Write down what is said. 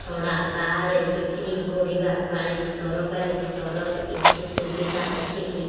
ଛଡା ବାହାରେ ବିକ୍ରି କରିବା ପାଇଁ ସରକାରୀ ସ୍ତରରେ କିଛି ସୁବିଧା ଅଛି କି